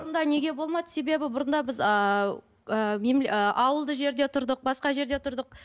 неге болмады себебі бұрында біз ыыы ауылды жерде тұрдық басқа жерде тұрдық